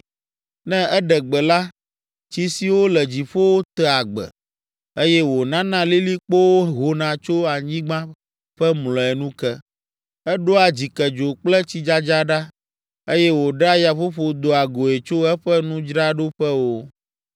Ne eɖe gbe la, tsi siwo le dziƒowo tea gbe eye wònana lilikpowo hona tso anyigba ƒe mlɔenu ke. Eɖoa dzikedzo kple tsidzadza ɖa eye wòɖea yaƒoƒo doa goe tso eƒe nudzraɖoƒewo.